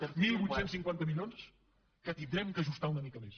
divuit cinquanta milions que haurem d’ajustar una mica més